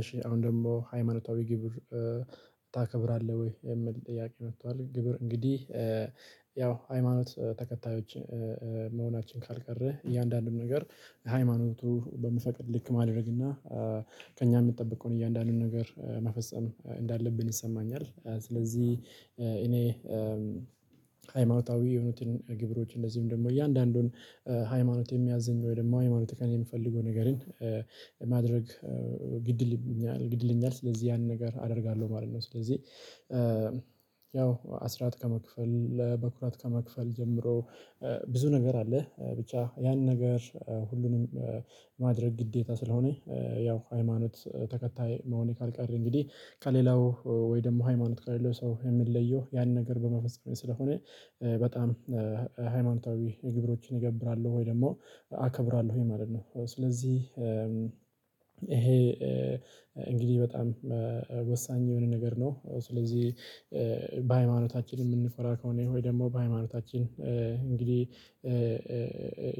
እሺ አሁን ደግሞ ሃይማኖታዊ ግብር ታከብራለህ ወይ የምል ጥያቄ መጥቷል? ግብር እንግዲህ ያው ሃይማኖት ተከታዮች መሆናችን ካልቀረህ እያንዳንዱን ነገር ሃይማኖቱ በሚፈቅድ ልክ ማድረግ እና ከእኛ የምጠብቀውን እያንዳንዱን ነገር መፈጸም እንዳለብን ይሰማኛል። ስለዚህ እኔ ሃይማኖታዊ የሆኑትን ግብሮች እንደዚሁም ደግሞ እያንዳንዱን ሃይማኖት የሚያዝኝ ወይ ደግሞ ሃይማኖት ከኔየሚፈልገው ነገርን ማድረግ ግድይለኛል ስለዚህ ያንን ነገር አደርጋለሁ ማለት ነው። ስለዚህ ያው አስራት ከመክፈል በኩራት ከመክፈል ጀምሮ ብዙ ነገር አለ። ብቻ ያን ነገር ሁሉንም ማድረግ ግዴታ ስለሆነ ያው ሃይማኖት ተከታይ መሆኔ ካልቀረ እንግዲህ ከሌላው ወይ ደግሞ ሃይማኖት ከሌላው ሰው የምለየው ያን ነገር በመፈጸሜ ስለሆነ በጣም ሃይማኖታዊ ግብሮችን እገብራለው ወይ ደግሞ አከብራለሁኝ ማለት ነው። ስለዚህ ይሄ እንግዲህ በጣም ወሳኝ የሆነ ነገር ነው። ስለዚህ በሃይማኖታችን የምኮራ ከሆነ ወይ ደግሞ በሃይማኖታችን እንግዲህ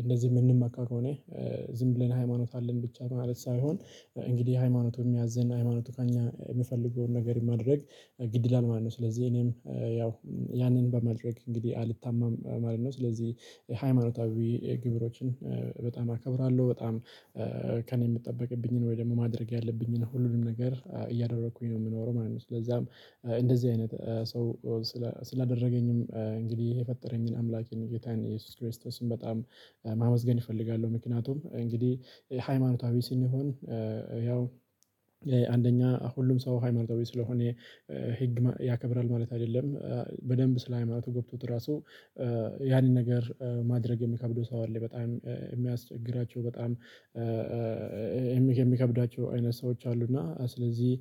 እንደዚህ የምንመካ ከሆነ ዝም ብለን ሃይማኖት አለን ብቻ ማለት ሳይሆን እንግዲህ ሃይማኖቱ የሚያዘን ሃይማኖቱ ከእኛ የምፈልገውን ነገር ማድረግ ግድ ይላል ማለት ነው። ስለዚህ እኔም ያው ያንን በማድረግ እንግዲህ አልታመም ማለት ነው። ስለዚህ ሃይማኖታዊ ግብሮችን በጣም አከብራለሁ በጣም ከእኔ የሚጠበቅብኝን ወይ ደግሞ ማድረግ ያለብኝን ሁሉንም ነገር እያደረኩኝ ነው የምኖረው ማለት ነው። ስለዚህም እንደዚህ አይነት ሰው እንግዲህ የፈጠረኝን አምላኬን ጌታን ኢየሱስ ክርስቶስን በጣም ማመስገን እፈልጋለሁ። ምክንያቱም እንግዲህ ሃይማኖታዊ ስንሆን ያው አንደኛ ሁሉም ሰው ሃይማኖታዊ ስለሆነ ህግ ያከብራል ማለት አይደለም በደንብ ስለ ሃይማኖቱ ገብቶት ራሱ ያንን ነገር ማድረግ የሚከብደው ሰው አለ። በጣም የሚያስቸግራቸው በጣም የሚከብዳቸው አይነት ሰዎች አሉ። እና ስለዚህ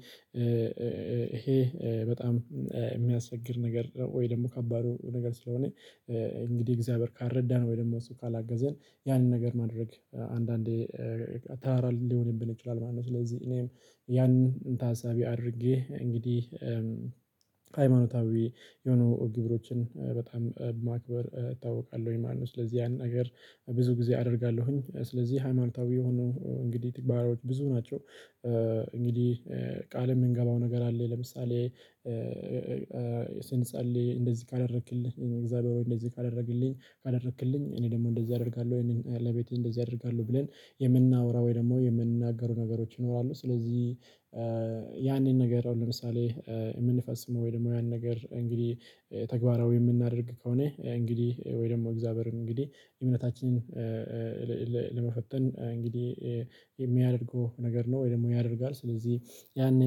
ይሄ በጣም የሚያስቸግር ነገር ነው። ወይ ደግሞ ከባድ ነገር ስለሆነ እንግዲህ እግዚአብሔር ካልረዳን ወይ ደግሞ እሱ ካላገዘን ያንን ነገር ማድረግ አንዳንዴ ተራራ ሊሆንብን ይችላል ማለት ነው። ስለዚህ እኔም ያንን ታሳቢ አድርጌ እንግዲህ ሃይማኖታዊ የሆኑ ግብሮችን በጣም ማክበር እታወቃለሁ ወይ ማነው ስለዚህ ያንን ነገር ብዙ ጊዜ አደርጋለሁኝ። ስለዚህ ሃይማኖታዊ የሆኑ እንግዲህ ተግባሮች ብዙ ናቸው። እንግዲህ ቃል የምንገባው ነገር አለ ለምሳሌ ስንጸልይ እንደዚህ ካደረክልኝ እግዚአብሔር ሆይ እንደዚህ ካደረክልኝ ካደረክልኝ እኔ ደግሞ እንደዚህ አደርጋለሁ ወይንም ለቤቴ እንደዚህ አደርጋለሁ ብለን የምናወራ ወይ ደግሞ የምንናገፈው ነገሮች ይኖራሉ። ስለዚህ ያንን ነገር ለምሳሌ የምንፈጵስመው ወይ ደግሞ ያን ነገር እንግዲህ ተግባራዊ የምናደርግ ከሆነ እንግዲህ ወይ ደግሞ እግዚአብሔርን እንግዲህ እምነታችንን ለመፈተን እንግዲህ የሚያደርገው ነገር ነው። ወይ ደግሞ ያደርጋል ስለዚህ ያኔ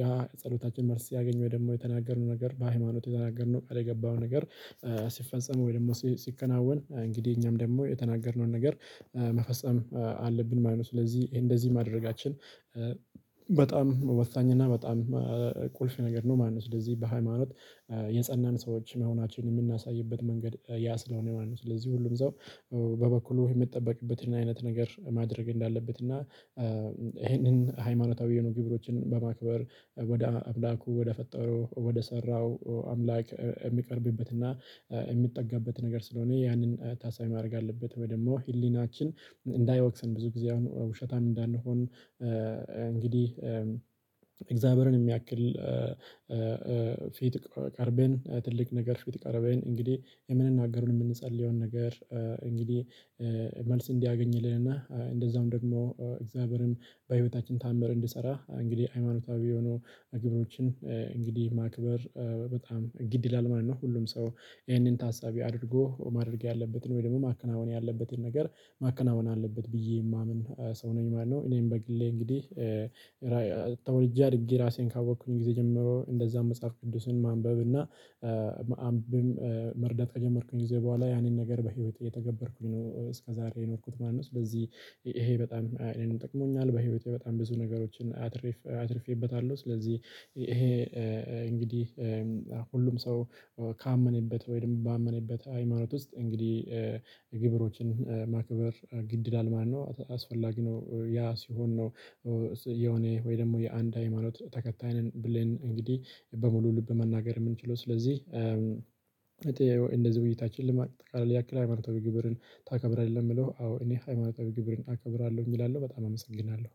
ያ ጸሎታችን መልስ ሲያገኘ ወይ ደግሞ የተናገርነው ነገር በሃይማኖት የተናገርነው ቃል የገባው ነገር ሲፈጸም ወይ ደግሞ ሲከናወን እንግዲህ እኛም ደግሞ የተናገርነውን ነገር መፈጸም አለብን ማለት ነው። ስለዚህ እንደዚህ ማድረጋችን በጣም ወሳኝ እና በጣም ቁልፍ ነገር ነው ማለት ነው። ስለዚህ በሃይማኖት የጸናን ሰዎች መሆናችንን የምናሳይበት መንገድ ያስለሆነ ማለት ነው። ስለዚህ ሁሉም ሰው በበኩሉ የሚጠበቅበትን አይነት ነገር ማድረግ እንዳለበት እና ይሄንን ሃይማኖታዊ የሆኑ ግብሮችን በማክበር ወደ አምላኩ ወደ ፈጣሪው ወደ ሰራው አምላክ የሚቀርብበት እና የሚጠጋበት ነገር ስለሆነ ያንን ታሳቢ ማድረግ አለበት። ወይ ደግሞ ህሊናችን እንዳይወቅሰን ብዙ ጊዜ ውሸታም እንዳንሆን እንግዲህ እግዚአብሔርን የሚያክል ፊት ቀርበን ትልቅ ነገር ፊት ቀርበን እንግዲህ የምንናገረውን የምንጸልየውን ነገር እንግዲህ መልስ እንዲያገኝልን እና እንደዛውም ደግሞ እግዚአብሔርም በህይወታችን ታምር እንዲሰራ እንግዲህ ሃይማኖታዊ የሆኑ ግብሮችን እንግዲህ ማክበር በጣም ግድ ይላል ማለት ነው። ሁሉም ሰው ይሄንን ታሳቢ አድርጎ ማድረግ ያለበትን ወይ ደግሞ ማከናወን ያለበትን ነገር ማከናወን አለበት ብዬ የማምን ሰው ነኝ ማለት ነው። እኔም በግሌ እንግዲህ አድጌ ራሴን ካወቅኩኝ ጊዜ ጀምሮ እንደዛም መጽሐፍ ቅዱስን ማንበብ እና መርዳት ከጀመርኩኝ ጊዜ በኋላ ያንን ነገር በህይወቴ የተገበርኩኝ ነው እስከ ዛሬ የኖርኩት ማለት ነው። ስለዚህ ይሄ በጣም አይነት ጠቅሞኛል በህይወቴ በጣም ብዙ ነገሮችን አትርፌበታለሁ። ስለዚህ ይሄ እንግዲህ ሁሉም ሰው ካመነበት ወይም ባመነበት ሃይማኖት ውስጥ እንግዲህ ማክበር ግድ ይላል ማለት የው አስፈላጊ ነው። ያ ሲሆን ነው የሆነ ወይ ደግሞ የአንድ ሃይማኖት ተከታይ ነን ብለን እንግዲህ በሙሉ ልብ መናገር የምንችለው ስለዚህ እውነታችን ልማት ካለ ያክል ሃይማታዊ ግብርን ታከብራለህ? የምለው አዎ እኔ ሃይማኖታዊ ግብርን አከብራለሁ እንግዲህ እላለው በጣም አመሰግናለሁ